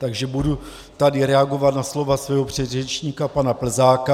Takže tady budu reagovat na slova svého předřečníka pana Plzáka.